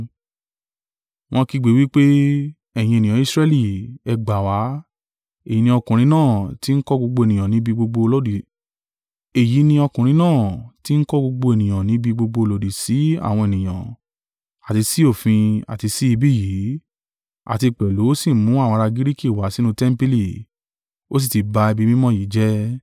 Wọ́n ń kígbe wí pé, “Ẹ̀yin ènìyàn Israẹli, ẹ gbà wá. Èyí ni ọkùnrin náà tí ń kọ́ gbogbo ènìyàn níbi gbogbo lòdì sí àwọn ènìyàn, àti sí òfin, àti sí ibí yìí, àti pẹ̀lú ó sì mú àwọn ará Giriki wá sínú tẹmpili, ó sì tí ba ibi mímọ́ yìí jẹ́.”